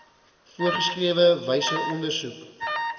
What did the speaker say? voorgeskrewe wyse ondersoek